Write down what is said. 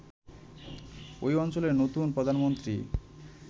ঐ অঞ্চলের নতুন প্রধানমন্ত্রী